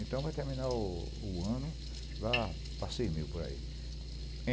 Então, vai terminar o o ano, lá para cem mil por aí.